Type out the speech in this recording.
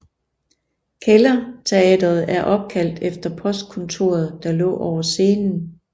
Kælderteateret er opkaldt efter postkontoret der lå over scenen